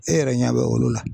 E yɛrɛ ɲɛ bɛ olu la